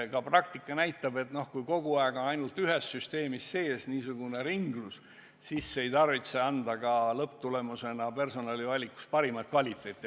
Ka praktika näitab, et kui kogu aeg on niisugune ringlus ainult ühes süsteemis, siis see ei tarvitse lõpptulemusena personalivalikus parimat kvaliteeti anda.